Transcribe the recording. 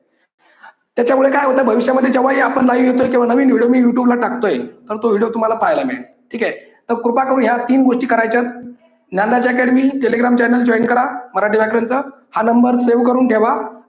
त्याच्यामुळे काय होतंय भविष्यामध्ये जेव्हाही आपण live येतोय केव्हा नवीन video मी youtube ला टाकतोय तर तो video तुम्हाला पाहायला मिळेल. ठीक आहे. तर कृपा करुन ह्या तीन गोष्टी करायच्यात. Dnyanraj academy telegram channel join करा मराठी व्याकरण च हा numbersave करून ठेवा